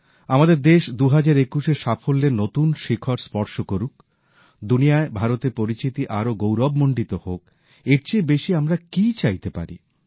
আমাদের দেশ ২০২১শে সাফল্যের নতুন শিখর স্পর্শ করুক দুনিয়ায় ভারতের পরিচিতি আরও গৌরবমণ্ডিত হোক এর চেয়ে বেশী আমরা আর কী চাইতে পারি